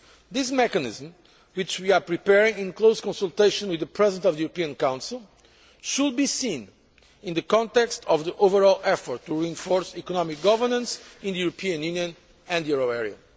This mechanism, which we are preparing in close consultation with the President of the European Council, should be seen in the context of the overall effort to reinforce economic governance in the European Union and euro area.